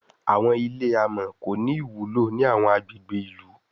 Àwọn ilé amò kò ní ìwúlò ní àwọn agbègbè ilú